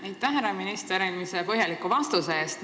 Aitäh, härra minister, eelmise põhjaliku vastuse eest!